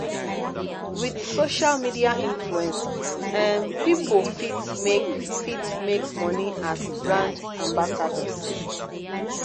with social media influence um pipo fit make fit make money as brand ambassadors